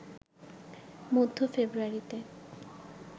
মধ্য ফেব্রুয়ারিতে